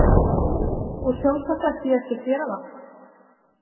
Og sjálfsagt ætti ég ekki að gera það.